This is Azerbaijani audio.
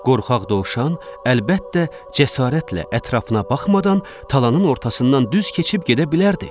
Qorxaq dovşan, əlbəttə, cəsarətlə ətrafına baxmadan talanın ortasından düz keçib gedə bilərdi.